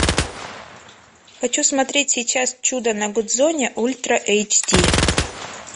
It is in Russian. хочу смотреть сейчас чудо на гудзоне ультра эйч ди